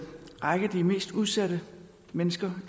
række af de mest udsatte mennesker